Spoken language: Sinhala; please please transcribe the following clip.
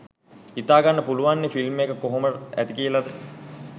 හිතාගන්න පුළුවන්නේ ෆිල්ම් එක කොහොමට ඇතිද කියලා